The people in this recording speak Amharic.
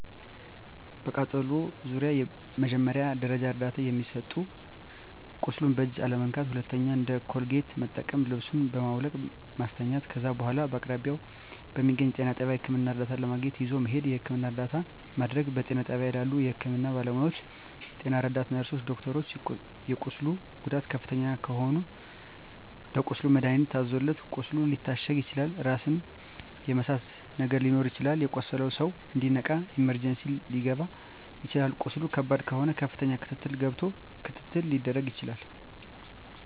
በቃጠሎ ዙሪያ መጀመሪያ ደረጃ እርዳታ የሚሰጠዉ ቁስሉን በእጅ አለመንካት ሁለተኛዉ እንደ ኮልጌት መጠቀም ልብሱን በማዉለቅ ማስተኛት ከዛ በኋላ በአቅራቢያዎ በሚገኘዉ ጤና ጣቢያ ህክምና እርዳታ ለማግኘት ይዞ መሄድ የህክምና እርዳታ ማድረግ በጤና ጣቢያ ባሉ የህክምና ባለሞያዎች ጤና ረዳት ነርስሮች ዶክተሮች የቁስሉ ጉዳት ከፍተኛ ከሆነ ለቁስሉ መድሀኒት ታዞለት ቁስሉ ሊታሸግ ይችላል ራስን የመሳት ነገር ሊኖር ይችላል የቆሰለዉ ሰዉ እንዲነቃ ኢመርጀንሲ ሊከባ ይችላል ቁስሉ ከባድ ከሆነ ከፍተኛ ክትትል ገብቶ ክትትል ሊደረግ ይችላል